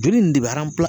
Joli nin de bɛ